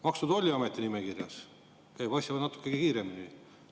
Maksu- ja Tolliameti nimekirjas käib asi natuke kiiremini.